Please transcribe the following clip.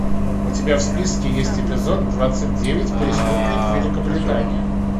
у тебя в списке есть эпизод двадцать девять преступник великобритания